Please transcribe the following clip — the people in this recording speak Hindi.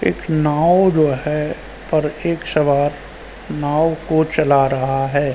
एक नाव जो है पर एक सवार नाव को चला रहा है।